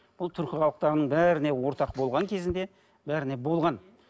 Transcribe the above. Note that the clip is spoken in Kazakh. бұл түркі халықтарының бәріне ортақ болған кезінде бәріне болған